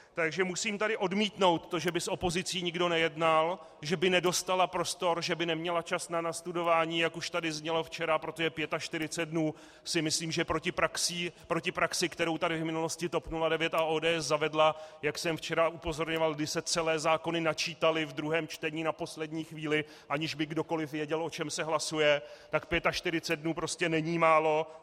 Takže musím tady odmítnout to, že by s opozicí nikdo nejednal, že by nedostala prostor, že by neměla čas na nastudování, jak už tady znělo včera, protože 45 dnů si myslím, že proti praxi, kterou tady v minulosti TOP 09 a ODS zavedly, jak jsem včera upozorňoval, když se celé zákony načítaly v druhém čtení na poslední chvíli, aniž by kdokoliv věděl, o čem se hlasuje, tak 45 dnů prostě není málo.